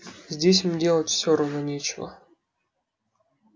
здесь им делать все равно нечего